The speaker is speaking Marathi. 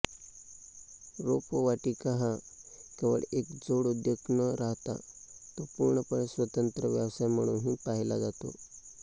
रोपवाटिका हा केवळ एक जोडउद्योग न राहता तो पूर्णपणे स्वत्रंत व्यावसाय म्हणूनही पाहिला जातो